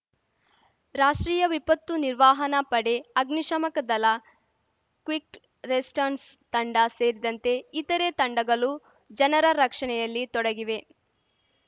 ರಾಷ್ಟ್ರೀಯ ವಿಪತ್ತು ನಿರ್ವಹನಾ ಪಡೆ ಅಗ್ನಿ ಶಾಮಕ ದಲ ಕ್ವಿಕ್‌ ರೆಸ್ಪಾನ್ಸ್‌ ತಂಡ ಸೇರಿದಂತೆ ಇತರೆ ತಂಡಗಲು ಜನರ ರಕ್ಷಣೆಯಲ್ಲಿ ತೊಡಗಿವೆ